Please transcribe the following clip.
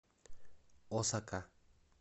осака